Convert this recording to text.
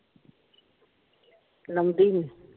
ਲਾਉਂਦੀ ਨਿ?